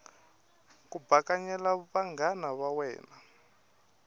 ku bakanyela vanghana va wena